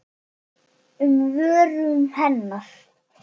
um vörum hennar.